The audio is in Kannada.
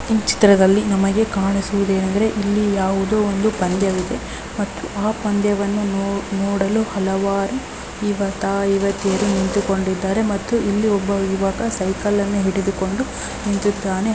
ಈ ಚಿತ್ರದಲ್ಲಿ ನಮಗೆ ಕಾಣಿಸುತ್ತಿರುವುದೇನೆಂದರೆ ಇಲ್ಲಿ ಯಾವುದೋ ಒಂದು ಪಂದ್ಯವಿದೆ ಮತ್ತು ಆ ಪಂದ್ಯವನ್ನು ನೋಡಲು ಹಲವಾರು ಯುವಕ ಯುವತಿಯರು ನಿಂತುಕೊಂಡಿದ್ದಾರೆ ಮತ್ತು ಒಬ್ಬ ಯುವಕ ಸೈಕಲ್ ನನ್ನು ಹಿಡಿದುಕೊಂಡು ನಿಂತಿದ್ದಾನೆ.